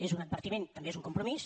és un advertiment també és un compromís